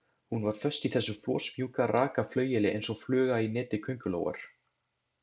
Hún var föst í þessu flosmjúka, raka flaueli eins og fluga í neti köngulóar.